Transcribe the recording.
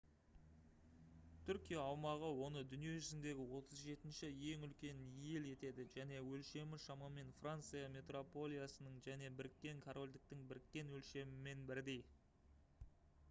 түркия аумағы оны дүние жүзіндегі 37-ші ең үлкен ел етеді және өлшемі шамамен франция метрополиясының және біріккен корольдіктің біріккен өлшемімен бірдей